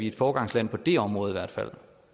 et foregangsland på det område i hvert fald